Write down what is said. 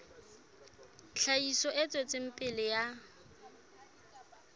tlhahiso e tswetseng pele ya